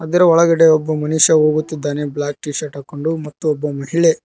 ಇದರ ಒಳಗಡೆ ಒಬ್ಬ ಮನುಷ್ಯ ಹೋಗುತ್ತಿದ್ದಾನೆ ಬ್ಲಾಕ್ ಟಿಶರ್ಟ್ ಹಾಕೊಂಡು ಮತ್ತು ಒಬ್ಬ ಮಹಿಳೆ--